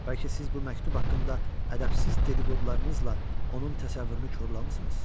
Bəlkə siz bu məktub haqqında ədəbsiz dedi-qodularınızla onun təsəvvürünü korlamısınız?